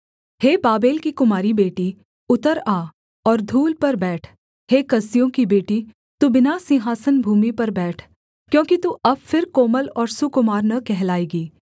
हे Babel की कुमारी बेटी उतर आ और धूल पर बैठ हे कसदियों की बेटी तू बिना सिंहासन भूमि पर बैठ क्योंकि तू अब फिर कोमल और सुकुमार न कहलाएगी